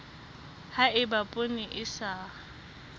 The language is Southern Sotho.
ha eba poone e sa